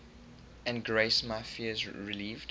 and grace my fears relieved